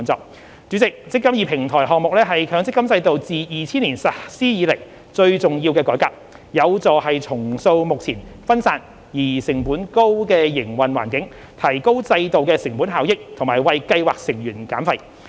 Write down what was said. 代理主席，"積金易"平台項目是強積金制度自2000年實施以來最重要的改革，有助重塑目前分散而成本高的營運環境，提高制度的成本效益和為計劃成員減費。